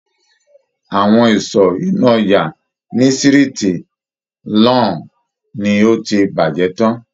Awọn ìsọ inú ojà ni siriti Lawn ni o ti bàjé tán.